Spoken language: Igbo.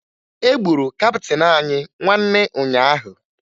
E gburu kaptịn anyị nwanne ụnyaahụ